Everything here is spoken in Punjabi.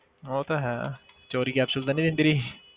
ਉਹ ਤਾਂ ਹੈ ਚੌਰੀ capsule ਤਾਂ ਨੀ ਦਿੰਦੀ ਰਹੀ?